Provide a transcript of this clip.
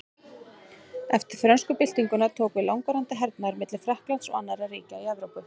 Eftir frönsku byltinguna tók við langvarandi hernaður milli Frakklands og annarra ríkja Evrópu.